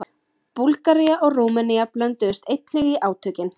Búlgaría og Rúmenía blönduðust einnig í átökin.